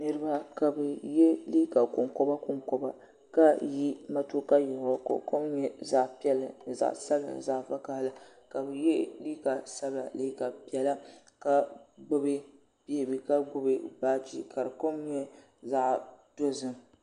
Niriba ka bɛ ye liiga konkoba konkoba ka yi matuuka yiɣirigu ka o kom nyɛ zaɣa piɛlli ni zaɣa sabinli ni zaɣa vakahali ka bɛ ye liiga sabinla liiga piɛla ka gbibi beebi ka gbibi baaji ka di kom nyɛ zaɣa dozim.